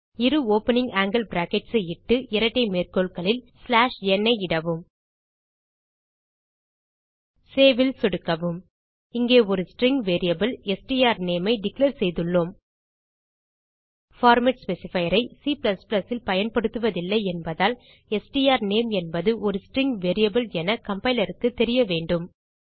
இரு opening angle brackets ஐ இட்டு இரட்டை மேற்கோள்களில் n ஐ இடவும் சேவ் ல் சொடுக்கவும் இங்கே ஒரு ஸ்ட்ரிங் வேரியபிள் ஸ்ட்ரானேம் ஐ டிக்ளேர் செய்துள்ளோம் பார்மேட் ஸ்பெசிஃபையர் ஐ C ல் பயன்படுத்துவதில்லை என்பதால் ஸ்ட்ரானேம் என்பது ஒரு ஸ்ட்ரிங் வேரியபிள் என கம்பைலர் க்கு தெரியவேண்டும்